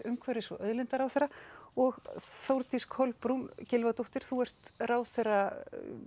umhverfis og auðlindaráðherra og Þórdís Kolbrún Gylfadóttir ráðherra